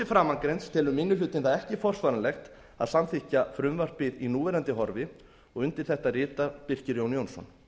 framangreinds telur minni hlutinn það ekki forsvaranlegt að samþykkja frumvarpið í núverandi horfi og undir þetta ritar birkir jón jónsson